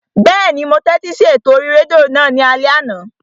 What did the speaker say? Bẹ́ẹ̀ni, mo tẹ́tí sí ètò orí rédíò náà ní alẹ́ àná